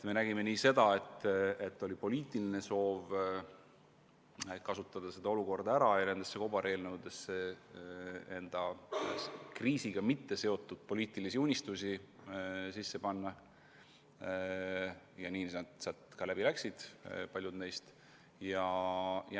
Me nägime seda, et oli poliitiline soov kasutada olukorda ära ja panna kobareelnõudesse sisse oma poliitilisi unistusi, mis kriisiga seotud ei ole, ja paljud neist läksidki läbi.